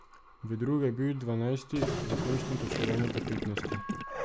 V drugo je bil dvanajsti, v končnem točkovanju pa petnajsti.